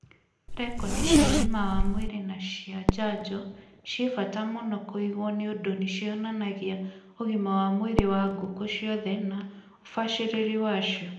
Rekondi cia ũgima wa mwĩrĩ na cia njanjo ciĩ bata mũno kũigwo nĩũndũ nĩcionanagia ũgima wa mwĩrĩ wa ngũkũ ciothe na ũbacĩrĩri wacio.